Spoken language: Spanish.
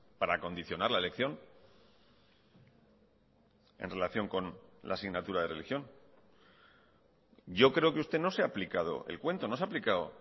para acondicionar la elección en relación con la asignatura de religión yo creo que usted no se ha aplicado el cuento no se ha aplicado